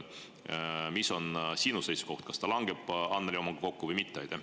Mis on sinu seisukoht, kas see langeb Annely omaga kokku või mitte?